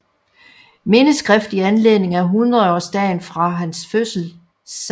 Mindeskrift i Anledning af Hundredaarsdagen for hans Fødsel 16